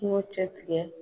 Kungo cɛ tigɛ.